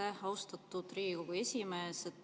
Aitäh, austatud Riigikogu esimees!